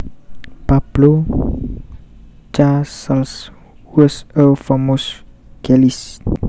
Pablo Casals was a famous cellist